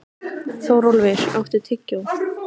Þórólfur, áttu tyggjó?